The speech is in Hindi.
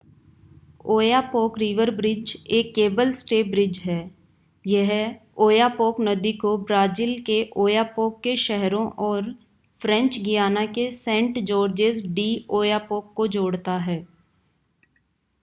ओयापॉक रिवर ब्रिज एक केबल स्टे ब्रिज है यह ओयापॉक नदी को ब्राज़ील के ओयापॉक के शहरों और फ़्रेंच गियाना के सेंट-जॉर्जेज डि ओयापॉक को जोड़ता है